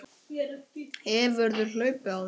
Linda: Hefurðu hlaupið áður?